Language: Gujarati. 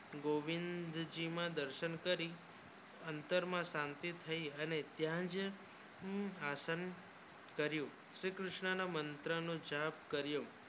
ગોવિંદ જી ના દર્શન કરી અંતર માં શાંતિ થાય અને ત્યાચ આસન કર્યું શ્રી કૃષ્ણ ના મંત્ર નો જાપ કર્યો